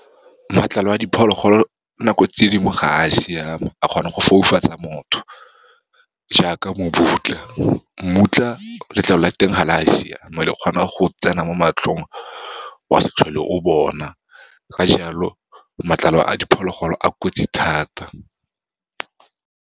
Matlalo a diphologolo nako tse dingwe ga a siama, a kgona go foufatsa motho, jaaka . Mmutlwa letlalo la teng ga le a siama, le kgona go tsena mo matlhong wa se tlhole o bona, ka jalo matlalo a diphologolo a kotsi thata.